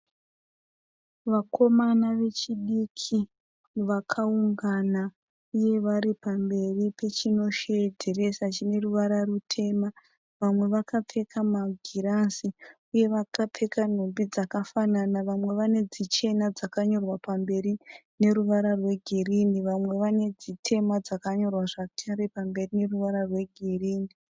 Vakomana vechidiki vakaungana uye vari pamberi pechinosheedzesa chine ruvara rutema. Vamwe vakapfeka magirazi uye vakapfeka nhumbi dzakafanana. Vamwe vane dzichena dzakanyorwa pamberi neruvara rwegirinhi. Vamwe vane zvitema zvakare zvakanyorwa negirinhi.